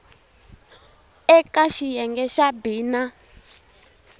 eka xiyenge xa b na